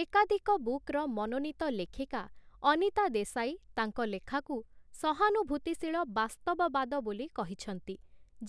ଏକାଧିକ ବୁକର୍‌ ମନୋନୀତ ଲେଖିକା 'ଅନିତା ଦେଶାଈ', ତାଙ୍କ ଲେଖାକୁ 'ସହାନୁଭୂତିଶୀଳ ବାସ୍ତବବାଦ' ବୋଲି କହିଛନ୍ତି,